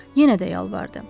Yenə də yalvardı: